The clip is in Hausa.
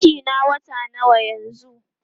cikin na wata nawa yanzun?